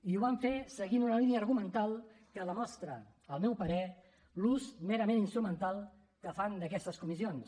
i ho van fer seguint una línia argumental que demostra al meu parer l’ús merament instrumental que fan d’aquestes comissions